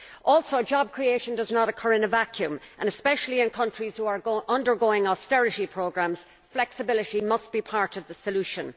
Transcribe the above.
Also, job creation does not occur in a vacuum and, especially in countries which are undergoing austerity programmes, flexibility must be part of the solution.